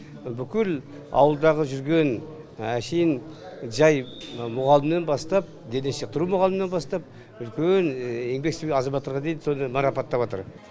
бүкіл ауылдағы жүрген әншейін жай мұғалімнен бастап дене шынықтыру мұғалімінен бастап үлкен еңбек сіңірген азаматтарға дейін соны марапаттап атыр